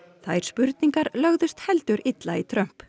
þær spurningar lögðust heldur illa í Trump